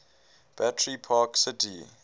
battery park city